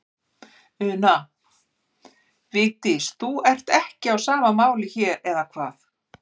Una: Vigdís, þú ert ekki á sama máli hér, eða hvað?